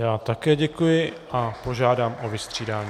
Já také děkuji a požádám o vystřídání.